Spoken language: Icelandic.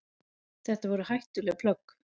Þetta væru hættuleg plögg.